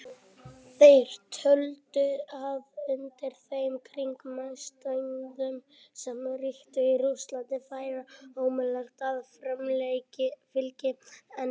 Þeir töldu að undir þeim kringumstæðum sem ríktu í Rússlandi væri ómögulegt að framfylgja henni.